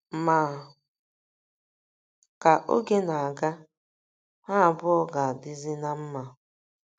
Ma, ka oge na - aga, ha abụọ ga - adịzi ná mma.